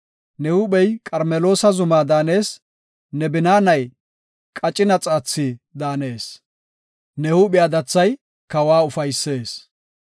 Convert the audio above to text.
Ne huuphey Qarmeloosa zuma daanees; ne binaanay qacina xaathi daanees; ne huuphiya dathay kawa ufaysees.